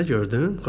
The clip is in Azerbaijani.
Hə, gördün?